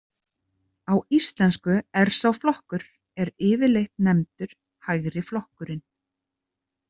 Á Íslensku er sá flokkur er yfirleitt nefndur Hægriflokkurinn.